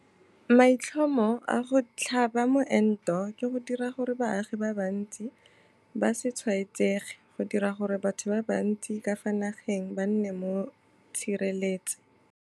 Maitlhomo a go tlhaba moento ke go dira gore baagi ba bantsi ba se tshwaetsege - go dira gore batho ba bantsi ka fa nageng ba nne mo tshireletse